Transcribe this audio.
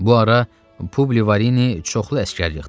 Bu ara Publi Varini çoxlu əsgər yığdı.